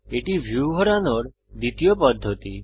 এটি ভিউ ঘোরানোর দ্বিতীয় পদ্ধতি